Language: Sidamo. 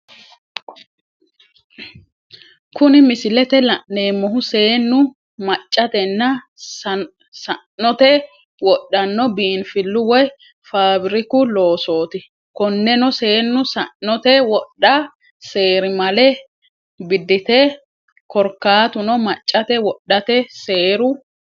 Kuni misilete la'neemohu, seenu maccatenna sa'notte woodhano biinfilu woyi faabiriku loosoti, koneno seenu sa'note wodha seerimale bideti korikatuno maccate wodhate seeru